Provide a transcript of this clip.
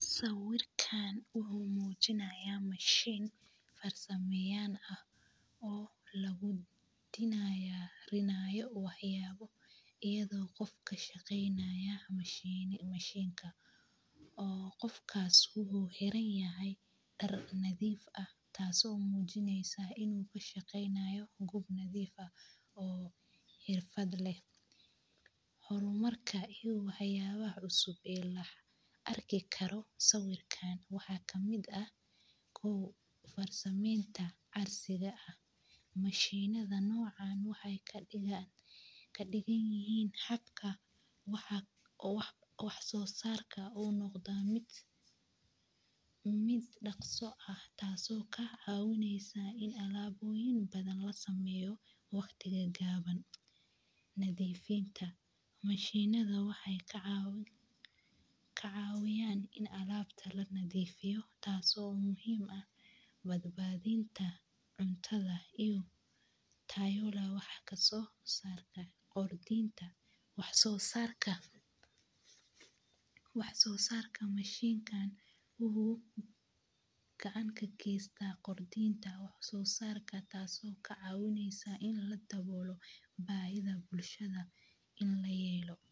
Sawirkan wuxuu mujinaya mashin ee sameyan oo lagu diyarinaya wax yabo iyadho qofka kashaqeynayo mashinka oo qofkas wuxuu xiran yahay dar nadhiif ah tasi oo mujineysa in u kashaqeynayo gob nadhiif ah oo xirfaad leh hormarka iyo wax yalaha cusub oo la arki karo sawirkan waxaa kamiid ah kow farsamimta casriga ah, mashinadha nocan waxee kadigan yihin xaqka waxa wax sosarka u noqda haraka taso kacawineysa in alaboyin badan lasameyo waqti gawan, nadhiifinta mashanida waxee kacawiyan in alabta lanadgifiyo taso muhiim ah bad badinta cuntadha iyo tayadha wax kaso sarta kordinta wax sosarka, wax sosarka mashinkan wuxuu gacan kagesta qordinta wax sosarka tasi oo kacawineysa bahida bulshaada in layelo.